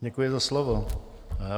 Děkuji za slovo.